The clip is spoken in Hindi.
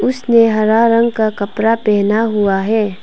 उसने हरा रंग का कपड़ा पहना हुआ है।